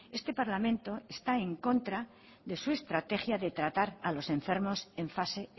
este parlamento está en contra de su estrategia de tratar a los enfermos en fase